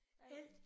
Alt